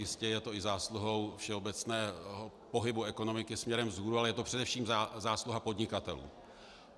Jistě je to i zásluhou všeobecného pohybu ekonomiky směrem vzhůru, ale je to především zásluha podnikatelů.